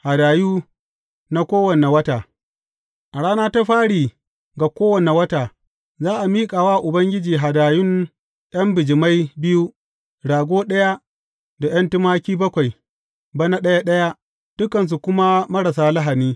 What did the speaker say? Hadayu na Kowane Wata A rana ta fari ga kowane wata, za a miƙa wa Ubangiji hadayun ’yan bijimai biyu, rago ɗaya, da ’yan tumaki bakwai, bana ɗaya ɗaya, dukansu kuma marasa lahani.